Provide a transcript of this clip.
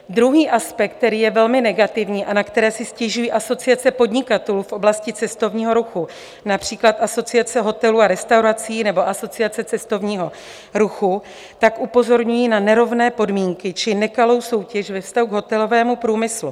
Druhý aspekt, který je velmi negativní a na který si stěžují asociace podnikatelů v oblasti cestovního ruchu, například Asociace hotelů a restaurací nebo Asociace cestovního ruchu, tak upozorňují na nerovné podmínky či nekalou soutěž ve vztahu k hotelovému průmyslu.